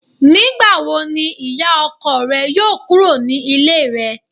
Nígbàwo ni ìyá ọkọ rẹ yóò kúrò ní Ilé rẹ̀